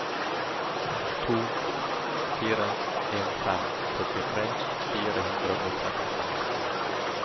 to fire en fem førtitre fire hundre og trettiseks